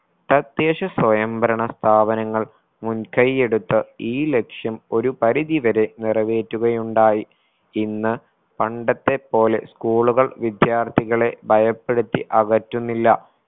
തദ്ദേശ സ്വയം ഭരണ സ്ഥാപനങ്ങൾ മുൻകൈ എടുത്ത് ഈ ലക്ഷ്യം ഒരു പരിധി വരെ നിറവേറ്റുകയുണ്ടായി. ഇന്ന് പണ്ടത്തെ പോലെ school കൾ വിദ്യാർത്ഥികളെ ഭയപ്പെടുത്തി അകറ്റുന്നില്ല